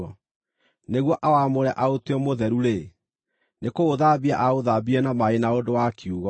nĩguo awamũre aũtue mũtheru-rĩ, nĩ kũũthambia aũthambirie na maaĩ na ũndũ wa kiugo,